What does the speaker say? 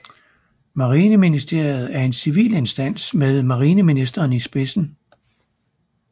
Marineministeriet er en civil instans med Marineministeren i spidsen